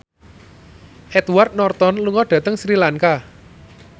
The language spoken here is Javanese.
Edward Norton lunga dhateng Sri Lanka